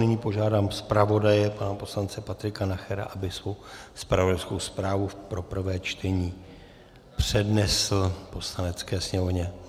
Nyní požádám zpravodaje pana poslance Patrika Nachera, aby svou zpravodajskou zprávu pro prvé čtení přednesl Poslanecké sněmovně.